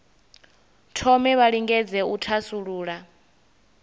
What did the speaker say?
thome vha lingedze u thasulula